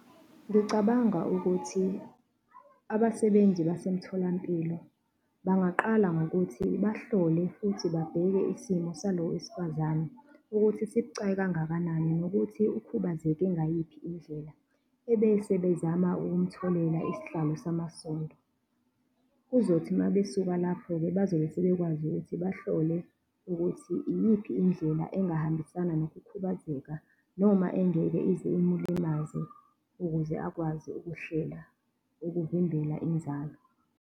Ngicabanga ukuthi abasebenzi basemtholampilo bangaqala ngokuthi bahlole futhi babheke isimo salo wesifazane ukuthi sibucayi kangakanani nokuthi ukhubazeke ngayiphi indlela, ebese bezama ukumtholela isihlalo samasondo. Kuzothi uma besuka lapho-ke bazobe sebekwazi ukuthi bahlole ukuthi iyiphi indlela engahambisana nokukhubazeka noma engeke ize imlimaza ukuze akwazi ukuhlela ukuvimbela inzalo.